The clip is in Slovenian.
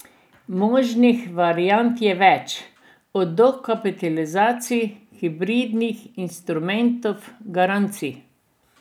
Možnih variant je več, od dokapitalizacij, hibridnih instrumentov, garancij.